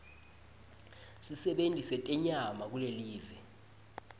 sisebenti setenyama kulelive